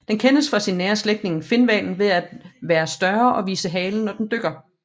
Den kendes fra sin nære slægtning finhvalen ved at være større og vise halen når den dykker